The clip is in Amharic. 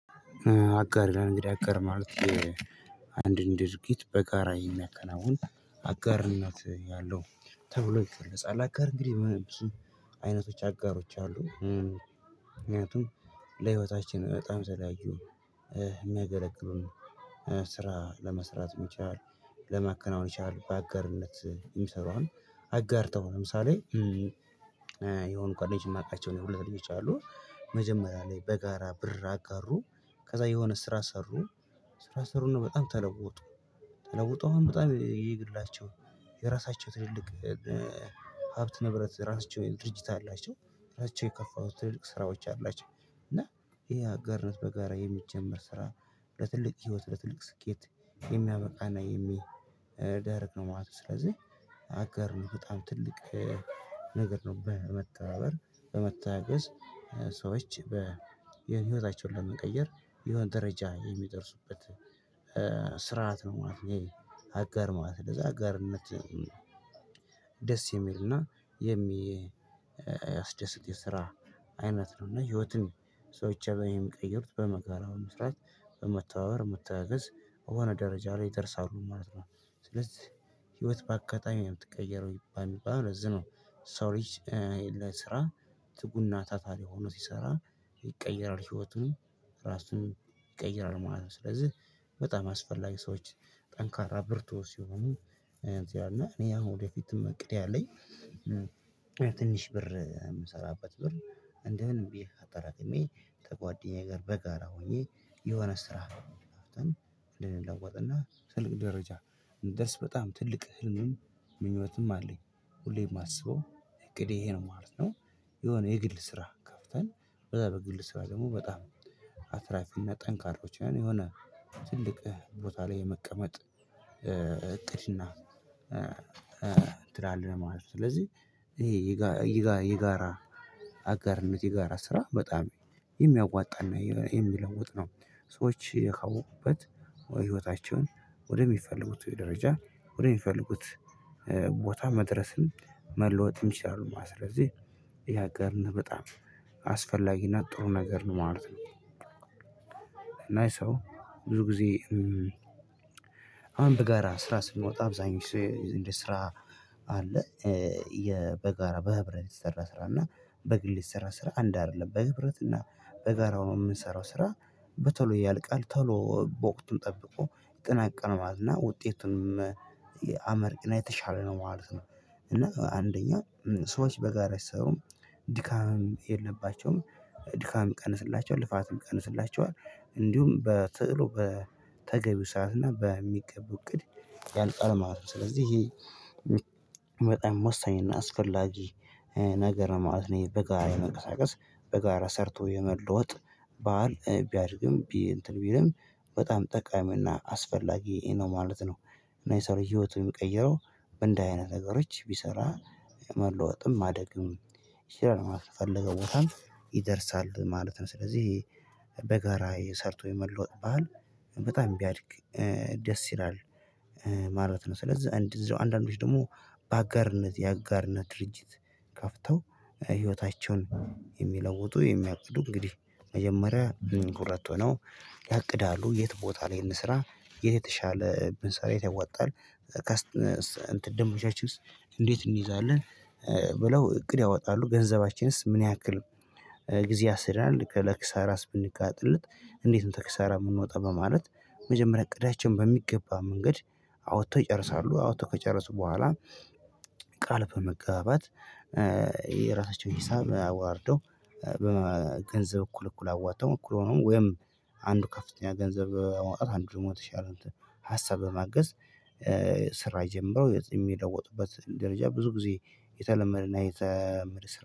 አጋር ይላል እንግዲህ። አጋር ማለት አንድን ድርጊት በጋራ የሚያከናውን አጋርነት ያለው ተብሎ ይገለጻል። አጋር እንግዲህ አይነቶች አጋሮች አሉ። ምክንያቱም ለህይወታችን በጣም ዘላይ የሚያገለግሉን ስራ ለመስራት መቻል ለማከናወን መቻል። በአጋርነት የሚሰሩ አሁን አጋርተው ለምሳሌ የሆኑ ጓደኞች የማውቃቸው እኔ ሁለት ልጆች አሉ። መጀመሪያ ላይ በጋራ ብር አጋሩ ከዛ የሆነ ስራ ሰሩ ስራ ሰሩና በጣም ተለወጡ ተለውጠው አሁን በጣም የግላቸው የራሳቸው ትልልቅ ሀብት ንብረት ራሳቸው ድርጅት አላቸው። ራሳቸው የከፈቱት ትልልቅ ስራዎች አላቸው። እና ይሄ ሀጋርነት በጋራ የሚጀመር ስራ ለትልቅ ህይወት ለትልቅ ስኬት የሚያበቃ እና የሚደረግ ነው ማለት ነው። ስለዚህ አጋር ነው በጣም ትልቅ ነገር ነው በመመተባበር በመመተጋገዝ ሰዎች የህይወታቸውን ለመቀየር የሆነ ደረጃ የሚደርሱበት ስርዓት ነው ማለት ነው፤ ይሄ አጋር ማለት። ለዛ አጋርነት ደስ የሚልና የሚ የሚያስደስት የስራ አይነት ነው። እና ህይወትን ሰዎች አብረው የሚቀየሩት በመከራ ነው። መስራት በመተባበር በመተጋገዝ የሆነ ደረጃ ላይ ይደርሳሉ ማለት ነው። ስለዚህ ህይወት በአጋጣሚ ነው የምትቀየረው የሚባለው ለዚህ ነው። የሰው ልጅ ትጉ እና ታታሪ ሆኖ ሲሰራ ይቀየራል ህይወቱን ራሱን ይቀየራል ማለት ነው። ስለዚህ በጣም ያስፈላጊ ሰዎች ጠንካራ ብርቱ ሲሆኑ እዚያ እና እኔ ሁን ወደፊትም እቅድ ያለኝ ትንሽ ብር የምሰራበት ብር እንደምንም ብዬ አጠራቅሜ ከጓደኛዬ ጋር በጋራ ሆኜ የሆነ ስራ ልንለወጥ እና ትልቅ ደረጃ ደስ በጣም ትልቅ ህልምም ምኞትም አለኝ። ሁሌም የማስበው እቅዴ ይሄ ነው ማለት ነው። የሆነ የግል ስራ ከፍተን በዛ በግል ስራ ደግሞ በጣም አትራፊና ጠንካሮች ያኔ የሆነ ትልቅ ቦታ ላይ የመቀመጥ እቅድ እቅድና እንትን አለ ማለት ነው ስለዚህ ይሄ ይጋራ አጋርነት የጋራ ስራ በጣም የሚያዋጣ እና የሚለውጥ ነው ሰዎች የሚያውቁበት ወይ ህይወታቸውን ወደሚፈልጉት ደረጃ ወደሚፈልጉት ቦታ መድረስን መለወጥም ይችላሉ ማለት ነው። ስለዚህ ይሄ አጋርነት በጣም አስፈላጊ እና ጥሩ ነገር ነው ማለት ነው። እና ሰው ብዙ ጊዜ አሁን በጋራ ስራ ስንወጣ አብዛኛው ስራ አለ በጋራ በህብረት የሚሰራ ስራ እና በግል የሚሰራ ስራ አንድ አይደለም። በህብረት እና በጋራ ሆነን የምንሰራው ስራ በቶሎ ያልቃል ቶሎ በወቅቱን ጠብቆ ቀኑ ያልቃል ማለት እና ውጤቱን አመርቂ እና የተሻለ ነው ማለት ነው። እና አንደኛው ሰዎች በጋራ የሰሩም ድካም የለባቸውም ድካም ይቀንስላቸዋል ልፋትም ይቀንስላቸዋል። እንዲሁም በቶሎ በተገቢው ሰዓት እና በሚገቡ እቅድ ያልቃል ማለት ነው። ስለዚህ ይሄ በጣም ወሳኝ እና አስፈላጊ ነገር ነው ማለት ነው። ይሄ በጋራ በመንቀሳቀስ በጋራ ሰርቶ የመለወጥ ባእል ቢያድግም ቢ እንትን ቢልም በጣም ጠቃሚና አስፈላጊ ነው ማለት ነው። እና የሰው ልጅ ህይወቱን የሚቀይረው በእንደዚህ አይነት ነገሮች ቢሰራ መለወጥም ማደግም ይችላል ማለት ነው። የፈለገው ቦታም ይደርሳል ማለት ነው። ስለዚህ በጋራ ሰርቶ የመለወጥ ባህል በጣም ቢያድግ ደስ ይላል። ማለት ነው። ስለዛ እንደዚሁ አንድአንዶዎች ደግሞ በአጋርነት የአጋርነት ድርጅት ከፍተው ህይወታቸውን የሚለውጡ የሚያቅዱ እንግዲህ መጀመሪያ ሁለት ሆነው ያቅዳሉ የት ቦታ ላይ እንስራ? የተሻለ ብንሰራ የት ያዋጣል? ከስት እንትን ደምበኞቻችንስ እንዴት እንይዛለን ብለው እቅድ ያወጣሉ። ገንዘባችንስ ምን ያክል ጊዜ ያሴደናል። ለኪሳራስ ብንጋለጥ እንዴት ነው ከኪሳራ የምንወጣው በማለት መጀመሪያ እቅዳችን በሚገባ መንገድ አውጥተው ይጨርሳሉ አውጥተው ከጨረሱ በኋላ ቃል በመገባባት የራሳቸውን ሂሳብ አወራርደው በገንዘብ እኩል እኩል አዋጥተው እኩል ሆኖ ወይም አንዱ ከፍተኛ ገንዘብ በማውጣት አንዱ ደግሞ የተሻለ ሀሳብ በማገዝ ስራ ጀምረው የሚለወጡበት ደረጃ ብዙ ጊዜ የተለመደ እና የተለመደ ስራ